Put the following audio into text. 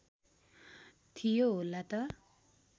थियो होला त